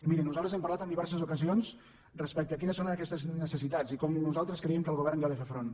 miri nosaltres hem parlat en diverses ocasions respecte a quines són aquestes necessitats i com nosaltres creiem que el govern hi ha de fer front